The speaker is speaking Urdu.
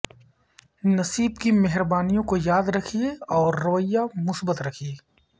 نصیب کی مہربانیوں کو یاد رکھیے اور رویہ مثبت رکھیے